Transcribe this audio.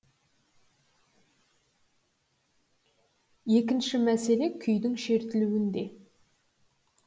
екінші мәселе күйдің шертілуінде